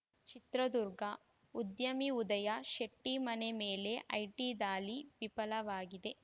ಚಿತ್ರದುರ್ಗ ಉದ್ಯಮಿ ಉದಯ ಶೆಟ್ಟಿಮನೆ ಮೇಲೆ ಐಟಿ ದಾಳಿ ವಿಫಲವಾಗಿದೆ